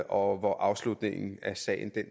og hvor afslutningen af sagen